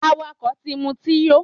Àwàkó tí mú ti yò